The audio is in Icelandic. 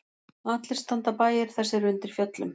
Allir standa bæir þessir undir fjöllum.